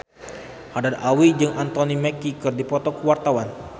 Haddad Alwi jeung Anthony Mackie keur dipoto ku wartawan